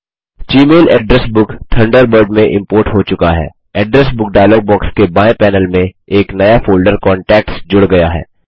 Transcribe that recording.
जी mail address book Thunderbird में import हो चुका है एड्रेस बुक डायलॉग बॉक्स के बाएँ पैनल में एक नया फोल्डर कांटैक्ट्स जुड़ गया है